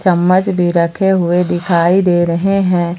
चम्मच भी रखे हुए दिखाई दे रहे हैं।